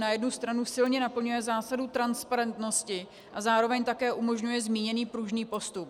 Na jednu stranu silně naplňuje zásadu transparentnosti a zároveň také umožňuje zmíněný pružný postup.